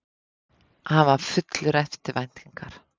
Hann var fullur eftirvæntingar.